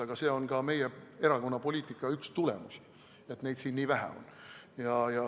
Aga see on ka meie erakonna poliitika üks tulemusi, et neid siin nii vähe on.